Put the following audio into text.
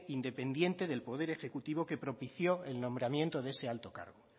independiente del poder ejecutivo que propició el nombramiento de ese alto cargo